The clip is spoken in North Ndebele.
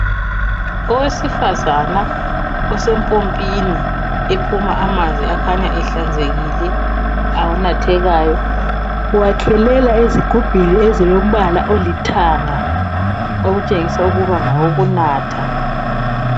Owesifazana osempompini ephuma amanzi akhanya ehlanzekile, anathekayo uwakhelela ezigubhini ezilombala olithanga okutshengisa ukuba ngawokunatha.